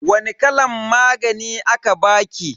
Wani kalan magani aka baki?